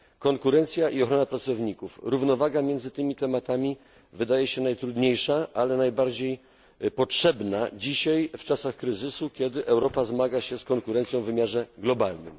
Konkurencja i ochrona pracowników równowaga między tymi tematami wydaje się najtrudniejsza, ale najbardziej potrzebna dzisiaj, w czasach kryzysu, kiedy Europa zmaga się z konkurencją w wymiarze globalnym.